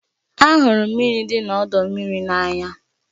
Ahụrụ m mmiri dị n'ọdọ mmiri n'anya